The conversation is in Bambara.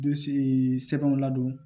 Dusu ye sɛbɛnw ladon